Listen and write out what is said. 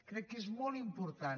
crec que és molt important